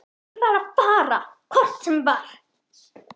Ég var að fara hvort sem var.